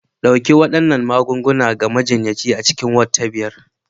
Ɗauki waɗannan magungunan ga majiyyaci a cikin Ward ta biyar